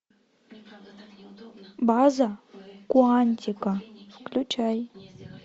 база куантико включай